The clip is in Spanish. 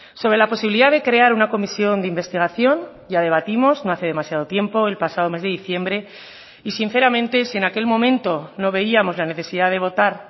sobre la posibilidad de crear una comisión de investigación ya debatimos no hace demasiado tiempo el pasado mes de diciembre y sinceramente si en aquel momento no veíamos la necesidad de votar